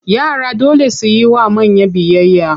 Yara dole su yi wa manya biyayya.